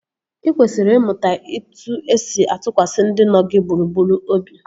Ị kwesịrị ịmụta etu-esi atụkwasị ndị nọ gị gburugburu obi